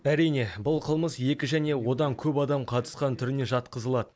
әрине бұл қылмыс екі және одан көп адам қатысқан түріне жатқызылады